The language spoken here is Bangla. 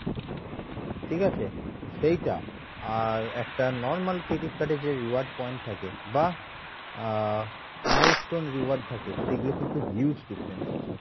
ঠিক আছে? সেইটা আর একটা normal credit card এ যে reward point থাকে বা আহ milestone reward থাকে সেগুলো কিন্তু huge difference আছে,